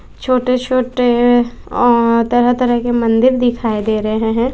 छोटे छोटे अं तरह तरह के मंदिर दिखाई दे रहे हैं।